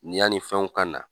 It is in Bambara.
Yani fɛnw ka na.